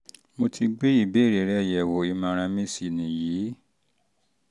mo ti gbé ìbéèrè rẹ yẹ̀wò ìmọ̀ràn mi sì nìyí